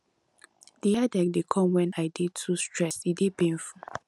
di headache dey come wen i dey too stressed e dey painful